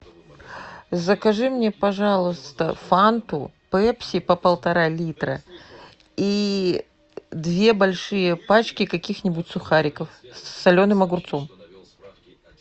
закажи мне пожалуйста фанту пепси по полтора литра и две большие пачки каких нибудь сухариков с соленым огурцом